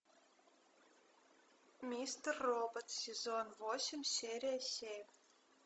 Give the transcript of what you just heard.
мистер робот сезон восемь серия семь